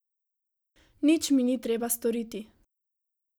Nič mi ni treba storiti.